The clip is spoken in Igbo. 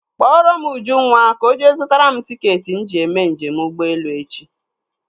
Kpọrọ m Ujunwa ka ọ jee zụtara m tiketi m ji eme njem ụgbọelu echi.